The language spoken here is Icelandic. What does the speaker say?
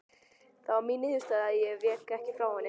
Þeta var mín niðurstaða og ég vék ekki frá henni.